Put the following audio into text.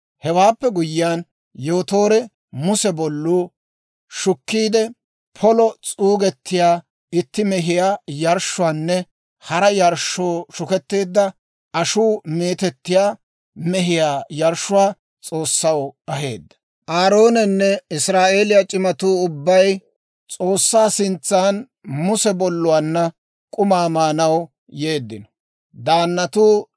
Hewaappe guyyiyaan Yootoore, Muse bolluu, shuketiide polo s'uugettiyaa itti mehiyaa yarshshuwaanne hara yarshshoo shuketeedda ashuu meetettiyaa mehiyaa yarshshuwaa S'oossaw aheedda; Aaroonenne Israa'eeliyaa c'imatuu ubbay S'oossaa sintsan Muse bolluwaanna k'umaa maanaw yeeddino.